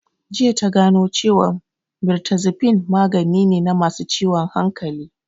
Jiya ta gano cewan mirtazapine magani ne na masu ciwon hankali